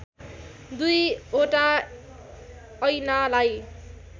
दुई वटा ऐनालाई